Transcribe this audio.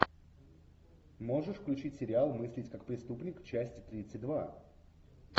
можешь включить сериал мыслить как преступник часть тридцать два